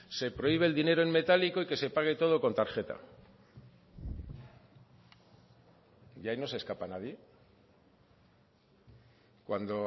se prohíbe el dinero en metálico y que se pague todo con tarjeta y ahí no se escapa nadie cuando